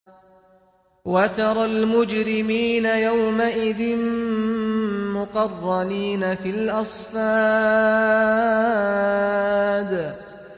وَتَرَى الْمُجْرِمِينَ يَوْمَئِذٍ مُّقَرَّنِينَ فِي الْأَصْفَادِ